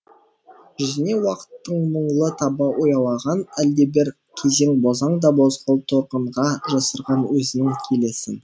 жүзіне уақыттың мұңлы табы ұялаған әлдебір кезең бозаң да бозғылт торғынға жасырған өзінің елесін